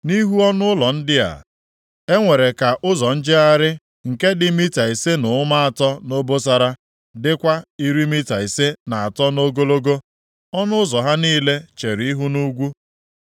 Nʼihu ọnụụlọ ndị a, e nwere ka ụzọ njegharị nke dị mita ise na ụma atọ nʼobosara, dịkwa iri mita ise na atọ nʼogologo. Ọnụ ụzọ ha niile chere ihu nʼugwu.